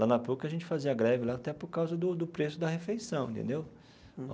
Lá na PUC, a gente fazia greve lá até por causa do do do preço da refeição entendeu.